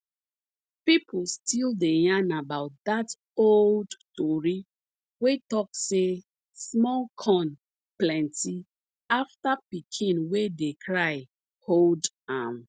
people still dey yarn about dat old tori wey talk say small corn plenty afta pikin wey dey cry hold am